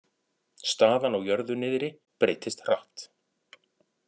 Staðan á jörðu niðri breytist hratt